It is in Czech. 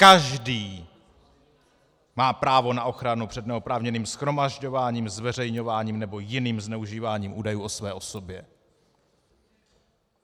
Každý má právo na ochranu před neoprávněným shromažďováním, zveřejňováním nebo jiným zneužíváním údajů o své osobě.